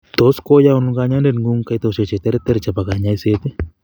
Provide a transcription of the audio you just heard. Tos koyaun kanyoindet ng'ung kaitoshek cheterter chebo kanyoiset